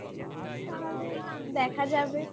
তাহলে দেখা যাবে